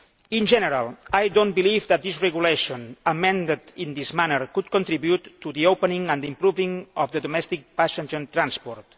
In general I do not believe that this regulation, amended in this manner, could contribute to the opening and improving of domestic passenger transport.